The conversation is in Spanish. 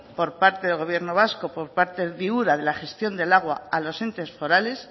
por parte del gobierno vasco por parte de ura de la gestión del agua a los entes forales